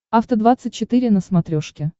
афта двадцать четыре на смотрешке